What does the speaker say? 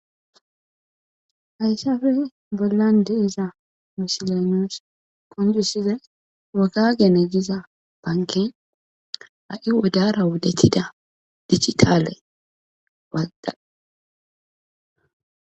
Hayssafe bollan de'iza misiley nuus qonccisizay wogagene giza bankey ha'i wodara wodetida digitaale walta.